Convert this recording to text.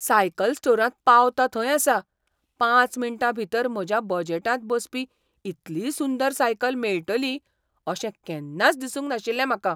Cycle स्टोरांत पावतां थंय आसां, पांच मिनटां भितर म्हज्या बजेटांत बसपी इतली सुंदर सायकल मेळटली अशें केन्नाच दिसूंक नाशिल्लें म्हाका.